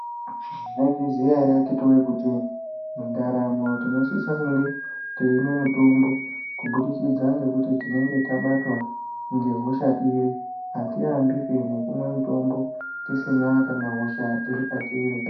Mwaizviziya ere akiti woye kuti mundaramo tinosise kunge teimwe mutombo kubudikidza ngekuti tinenge tabatwa ngehosha iri atiambi pe nekumwe mutombo tisina kana hosha iri petiri.